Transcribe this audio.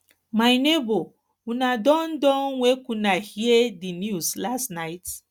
my nebor una don don wake una hear di news last night